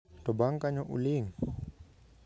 To bang' kanyo, uling".